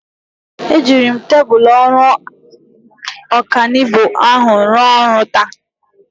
Ejiri m tebụl ọrụ ọkanibo ahụ rụọ ọrụ taa.